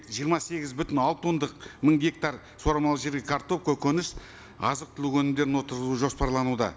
жиырма сегіз бүтін алты ондық мың гектар суармалы жерге картоп көгініс азық түлік өнімдерін отырғызуы жоспарлануда